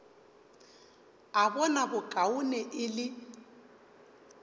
a bona bokaone e le